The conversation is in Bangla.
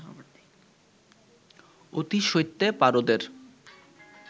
অতিশৈত্যে পারদের